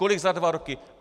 Kolik za dva roky?